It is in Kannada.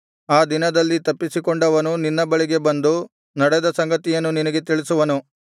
ಆ ದಿನದಲ್ಲಿ ತಪ್ಪಿಸಿಕೊಂಡವನು ನಿನ್ನ ಬಳಿಗೆ ಬಂದು ನಡೆದ ಸಂಗತಿಯನ್ನು ನಿನಗೆ ತಿಳಿಸುವನು